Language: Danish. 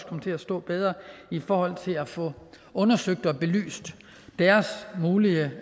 komme til at stå bedre i forhold til at få undersøgt og belyst deres mulige